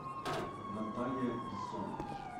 наталья бессонова